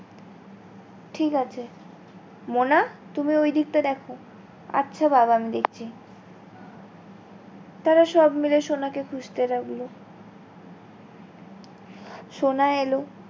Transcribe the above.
ঠিক আছে মোনা তুমি ঐদিকটা দেখো, আচ্ছা বাবা আমি দেখছি তারা সব মিলে সোনাকে খুঁজতে লাগলো সোনা এলো।